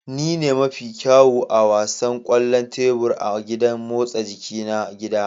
Ni ne mafi kyawu a wasan kwallon tebur a gidan motsa jiki na gida